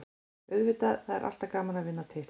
Auðvitað, það er alltaf gaman að vinna titla.